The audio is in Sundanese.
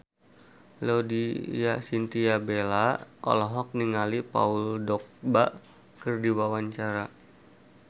Laudya Chintya Bella olohok ningali Paul Dogba keur diwawancara